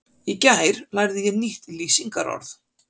Í gær lærði ég nýtt lýsingarorð.